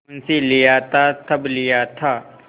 मुंशीलिया था तब लिया था